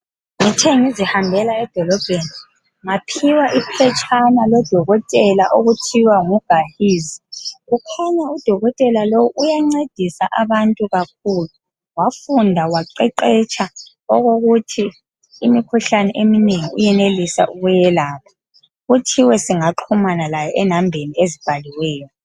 ngithe ngizihambela edolobheni ngaphiwa iphetshana ngu dokotela okuthiwa ngu Gahizi kukhanya u dokotela lowu uyancedisa abantu kakhulu wafunda waqeqetsha okokuthi imkhuhlane eminengi uyenelisa ukuyelapha kuthiwe singaxhumana laye e nambeni ezibhaliweyo